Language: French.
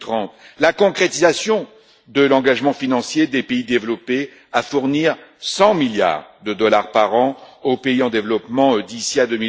et 2030 La concrétisation de l'engagement financier des pays développés à fournir 100 milliards de dollars par an aux pays en développement d'ici à